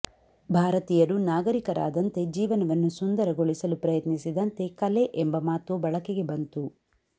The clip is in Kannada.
ಭಾರತೀಯರು ನಾಗರಿಕರಾದಂತೆ ಜೀವನವನ್ನು ಸುಂದರಗೊಳಿಸಲು ಪ್ರಯತ್ನಿಸಿದಂತೆ ಕಲೆ ಎಂಬ ಮಾತು ಬಳಕೆಗೆ ಬಂತು